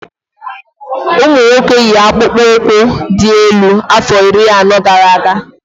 Ụmụ nwoke yi akpụkpọ ụkwụ dị́ elu afọ iri anọ gara aga